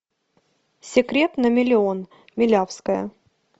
секрет на миллион милявская